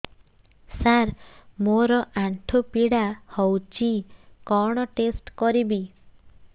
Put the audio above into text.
ସାର ମୋର ଆଣ୍ଠୁ ପୀଡା ହଉଚି କଣ ଟେଷ୍ଟ କରିବି